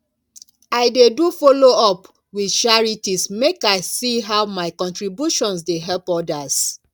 i dey do follow up with charities make i see how my contributions dey help others